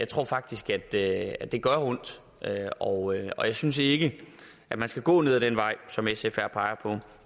tror faktisk at det at det gør ondt og og jeg synes ikke man skal gå ned ad den vej som sf her peger på